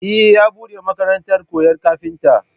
Eh, ya buɗe makarantar koyan kafinta